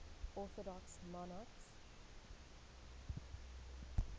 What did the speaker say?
orthodox monarchs